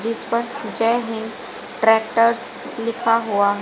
जिस पर जय हिंद ट्रैक्टर्स लिखा हुआ है।